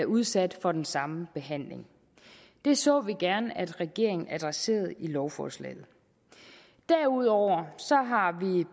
udsat for den samme behandling det så vi gerne at regeringen adresserede i lovforslaget derudover